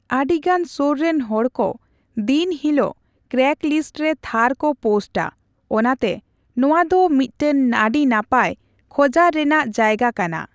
ᱟᱹᱰᱤ ᱜᱟᱱ ᱥᱳᱨ ᱨᱮᱱ ᱦᱚᱲ ᱠᱚ ᱫᱤᱱ ᱦᱤᱞᱟᱹᱜ ᱠᱨᱮᱜᱞᱤᱥᱴ ᱨᱮ ᱛᱷᱟᱨ ᱠᱚ ᱯᱳᱥᱴᱼᱟ, ᱚᱱᱟᱛᱮ ᱱᱚᱣᱟ ᱫᱚ ᱢᱤᱫᱴᱟᱝ ᱟᱹᱰᱤ ᱱᱟᱯᱟᱭ ᱠᱷᱚᱡᱟᱨ ᱨᱮᱱᱟᱜ ᱡᱟᱭᱜᱟ ᱠᱟᱱᱟ ᱾